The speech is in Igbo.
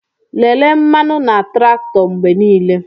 Lelee mmanụ na traktọ mgbe niile.